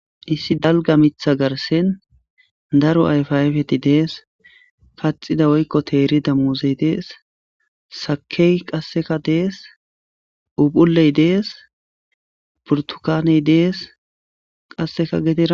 issi dalga mitha garsen daro ayfayfeti dees paxida woykko teerida muuzey dees sakey qasseka dees upuley dees purtukaney dees qasseka geten